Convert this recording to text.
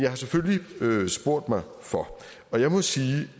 været selvfølgelig spurgt mig for og jeg må sige